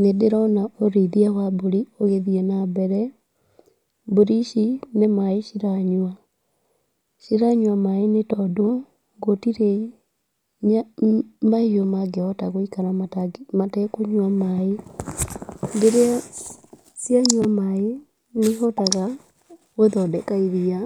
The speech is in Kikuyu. Nĩ ndĩrona ũrĩithia wa mburi ũgĩthiĩ na mbere, mburi ici nĩ maaĩ ciranyua, ciranyua maaĩ nĩ tondũ, gũtirĩ ma mahiũ mangĩhota gũikara matekũnyua maaĩ, rĩrĩa cianyua maaĩ nĩ ihotaga gũthondeka iria